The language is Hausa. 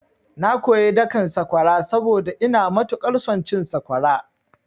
Na koyi dakan sakwara saboda ina matuƙar son cin sakwara.